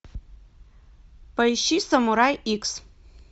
поищи самурай икс